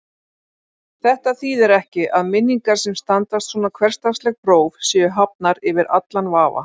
Þetta þýðir ekki að minningar sem standast svona hversdagsleg próf séu hafnar yfir allan vafa.